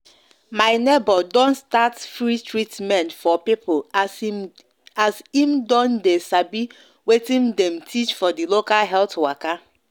my neighbor don start free treatment for people as him don sabi watin dem teach for the local health waka